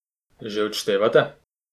Že odštevate?